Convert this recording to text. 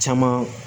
Caman